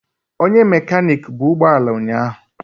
Onye mekaniki bu ụgbọ ala ụnyahụ.